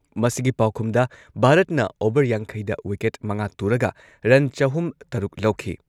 ꯃꯁꯤꯒꯤ ꯄꯥꯎꯈꯨꯝꯗ ꯚꯥꯔꯠꯅ ꯑꯣꯚꯔ ꯌꯥꯡꯈꯩꯗ ꯋꯤꯀꯦꯠ ꯃꯉꯥ ꯇꯨꯔꯒ ꯔꯟ ꯆꯍꯨꯝ ꯇꯔꯨꯛ ꯂꯧꯈꯤ ꯫